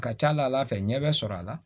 A ka ca ala fɛ ɲɛ bɛ sɔrɔ a la